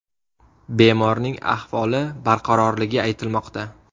Bemorning ahvoli barqarorligi aytilmoqda.